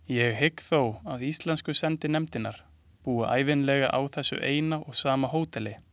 Ég hygg þó að íslensku sendinefndirnar búi ævinlega á þessu eina og sama hóteli.